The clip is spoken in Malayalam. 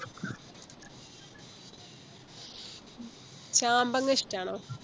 ചാമ്പങ്ങ ഇഷ്ട്ടാണോ